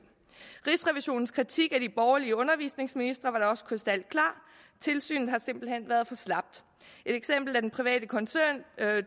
rigsrevisionens kritik af de borgerlige undervisningsministre var da også krystalklar tilsynet har simpelt hen været for slapt et eksempel er den private koncern